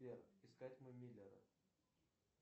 сбер искать мы миллеры